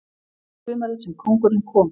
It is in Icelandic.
Sumarið sem kóngurinn kom